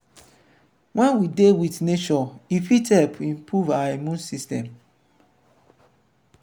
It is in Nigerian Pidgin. when we dey with nature e fit help improve our immume system